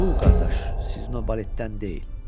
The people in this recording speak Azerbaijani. Bu, qardaş, sizin o baletdən deyil.